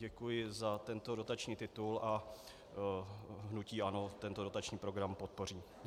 Děkuji za tento dotační titul a hnutí ANO tento dotační program podpoří.